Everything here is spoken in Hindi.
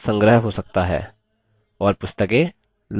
library पुस्तकों का संग्रह हो सकता है